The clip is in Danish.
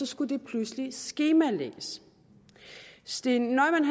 skulle det pludselig skemalægges steen neumann